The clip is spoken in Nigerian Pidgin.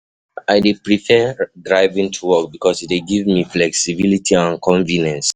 I dey prefer driving to work because e dey give me flexibility and convenience.